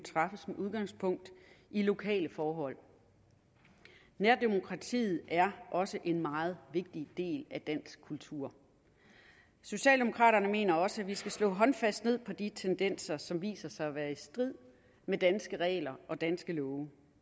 udgangspunkt i lokale forhold nærdemokratiet er også en meget vigtig del af dansk kultur socialdemokraterne mener også at vi skal slå håndfast ned på de tendenser som viser sig at være i strid med danske regler og danske love